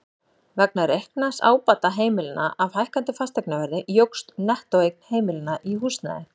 Vegna reiknaðs ábata heimilanna af hækkandi fasteignaverði jókst nettóeign heimilanna í húsnæði.